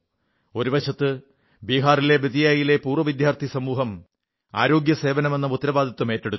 ഒരുവശത്ത് ബിഹാറിലെ ബേതിയയിലെ പൂർവ്വ വിദ്യാർഥി സമൂഹം ആരോഗ്യസേവനമെന്ന ഉത്തരവാദിത്വമേറ്റെടുത്തു